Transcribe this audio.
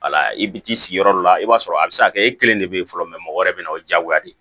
Wala i bɛ t'i sigi yɔrɔ la i b'a sɔrɔ a bɛ se ka kɛ e kelen de bɛ yen fɔlɔ mɔgɔ wɛrɛ bɛ na o ye diyagoya de ye